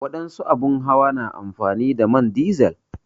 wadansu abin hawa na amfani da man dizil.